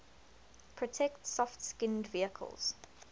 protect soft skinned vehicles